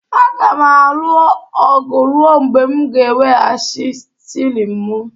Aga m alụ ọgụ ruo mgbe m ga-eweghachi shilling m